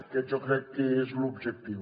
aquest jo crec que és l’objectiu